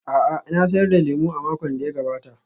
A'a, na sayar da lemo a makon da ya gabata.